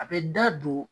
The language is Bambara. A bɛ da don